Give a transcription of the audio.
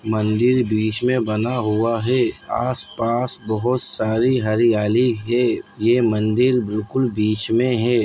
मंदिर बीच में बना हुआ है आसपास बहुत सारी हरियाली है ये मंदिर बिल्कुल बीच में है।